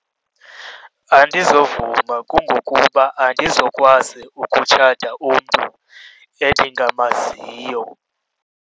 Andizovuma, kungokuba andizokwazi ukutshata umntu endingamaziyo.